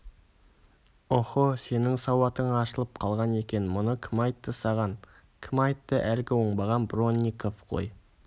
оһо сенің сауатың ашылып қалған екен мұны кім айтты саған кім айтты әлгі оңбаған бронников қой